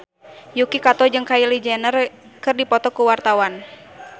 Yuki Kato jeung Kylie Jenner keur dipoto ku wartawan